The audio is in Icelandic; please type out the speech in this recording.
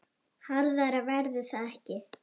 Harðara verður það ekki.